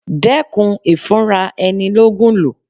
Dẹ́kun ìfúnra ẹni ló Ògùn lò.